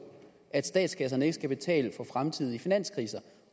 at statskasserne ikke skal betale for fremtidige finanskriser